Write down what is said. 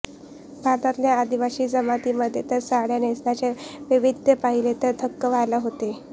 भारतातल्या आदीवासी जमातीमध्ये तर साडी नेसण्याचं वैविध्य पाहिलं तर थक्क व्हायला होतं